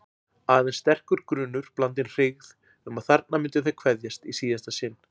Aðeins sterkur grunur, blandinn hryggð, um að þarna myndu þeir kveðjast í síðasta sinn.